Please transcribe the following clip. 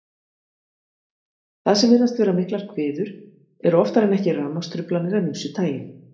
Það sem virðast vera miklar hviður eru oftar en ekki rafmagnstruflanir af ýmsu tagi.